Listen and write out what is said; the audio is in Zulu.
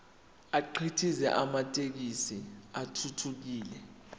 akhiqize amathekisthi athuthukile